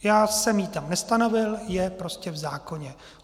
Já jsem ji tam nestanovil, je prostě v zákoně.